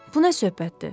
Bu nə söhbətdir?